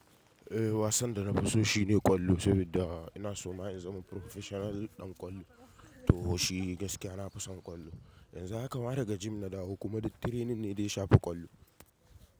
Eh wasan da na fi so shi ne kwallo, saboda ina so ma in zama professional ɗan kwallo. To shi gaskiya na fi son ƙwallo. Yanzu haka ma daga gym na dawo kuma duk training ne da ya shafi kwallo.